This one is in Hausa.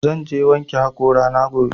Zan je wanke haƙora na gobe